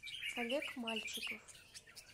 олег мальчиков